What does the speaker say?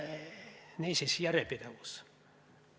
Niisiis, järjepidevus.